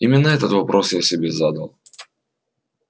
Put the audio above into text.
именно этот вопрос я себе задал